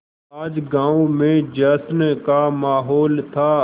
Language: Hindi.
आज गाँव में जश्न का माहौल था